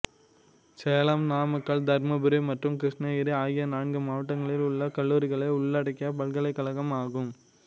சேலம் நாமக்கல் தர்மபுரி மற்றும் கிருஷ்ணகிரி ஆகிய நான்கு மாவட்டங்களில் உள்ள கல்லூரிகளை உள்ளடக்கிய பல்கலைக்கழகம் ஆகும்